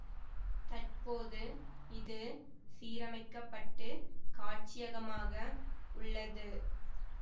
தற்போது இது சீரமைக்கப்பட்டு காட்சியகமாக உள்ளது